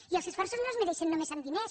i els esforços no es mesuren només amb diners